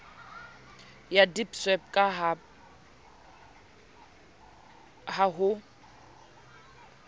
ya deedsweb ka ha ho